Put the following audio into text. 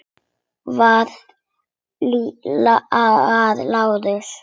Það var Lárus.